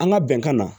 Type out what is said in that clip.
An ka bɛnkan na